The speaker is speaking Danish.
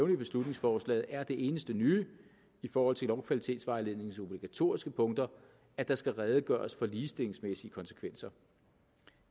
i beslutningsforslaget er det eneste nye i forhold til lovkvalitetsvejledningens obligatoriske punkter at der skal redegøres for ligestillingsmæssige konsekvenser